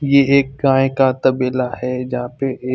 ये एक गाय का तबेला है जहा पे एक--